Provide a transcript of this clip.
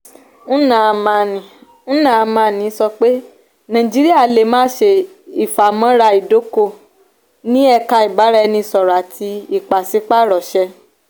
nnamani nnamani sọ pé nàìjíríyà lè má ṣe ìfàmọ́ra ìdóko ní èka ìbáraẹnisọ̀rọ àfi ìpàsípàrọ̀ ṣe.